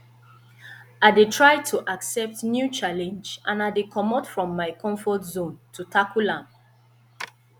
i dey try to accept new challenge and i dey comot from my comfort zone to tackle am